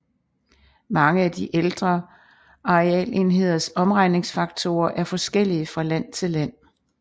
Mange af de ældre arealenheders omregningsfaktorer er forskellige fra land til land